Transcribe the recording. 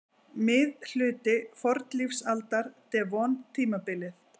Miðhluti fornlífsaldar- devon-tímabilið.